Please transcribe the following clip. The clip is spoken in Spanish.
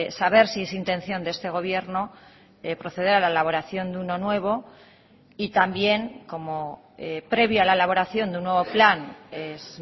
saber si es intención de este gobierno proceder a la elaboración de uno nuevo y también como previo a la elaboración de un nuevo plan es